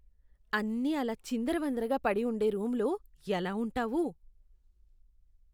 అన్నీ అలా చిందరవందరగా పడి ఉండే రూములో ఎలా ఉంటావు?